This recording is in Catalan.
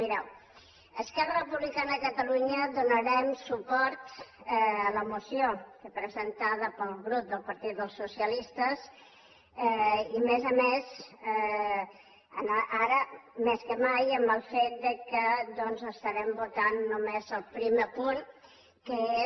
mireu esquerra republicana de catalunya donarem suport a la moció que presentada pel grup del partit socialista i a més a més ara més que mai amb el fet que doncs estarem votant només el primer punt que és